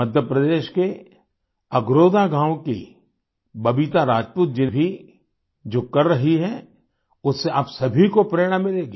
मध्य प्रदेश के अगरोथा गाँव की बबीता राजपूत जी भी जो कर रही हैं उससे आप सभी को प्रेरणा मिलेगी